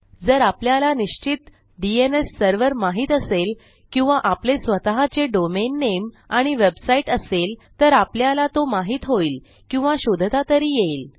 जर आपल्याला निश्चित डीएनएस सर्व्हर माहित असेल किंवा आपले स्वतःचे डोमेन Nameआणि वेबसाईट असेल तर आपल्याला तो माहित होईल किंवा शोधता तरी येईल